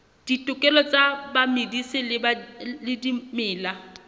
ditokelo tsa bamedisi ba dimela